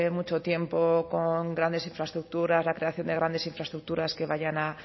mucho tiempo con grandes infraestructuras la creación de grandes infraestructuras que vayan